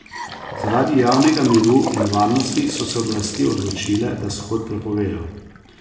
Zaradi javnega miru in varnosti so se oblasti odločile, da shod prepovejo.